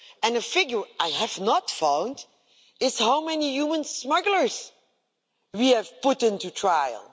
The figure I have not found is how many human smugglers we have put on trial.